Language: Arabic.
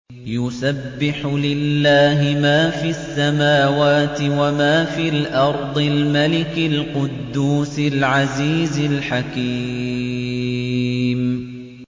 يُسَبِّحُ لِلَّهِ مَا فِي السَّمَاوَاتِ وَمَا فِي الْأَرْضِ الْمَلِكِ الْقُدُّوسِ الْعَزِيزِ الْحَكِيمِ